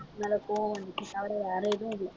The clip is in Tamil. மேல கோவம் வந்துச்சு தவிர வேற எதுவும் இல்லை